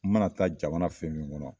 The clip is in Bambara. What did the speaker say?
N mana taa jamana fɛn fɛn kɔnɔ